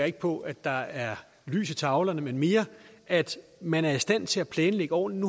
ikke på at der er lys i tavlerne men mere at man er i stand til at planlægge ordentligt